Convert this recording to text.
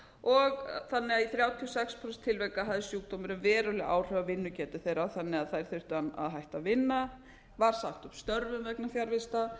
að í þrjátíu og sex þúsund tilvika hafði sjúkdómurinn verulega áhrif á vinnugetu þeirra þannig að þær þurftu að hætta að vinna var sagt upp störfum vegna fjarvista